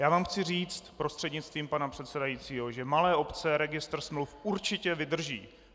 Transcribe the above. Já vám chci říct prostřednictvím pana předsedajícího, že malé obce registr smluv určitě vydrží.